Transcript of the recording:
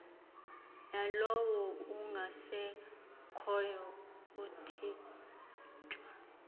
yalowo ungasekhoyo ukuthinjwa